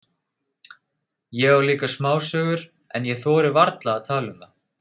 Ég á líka smásögur, en ég þori varla að tala um það.